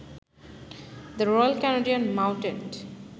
the royal Canadian mounted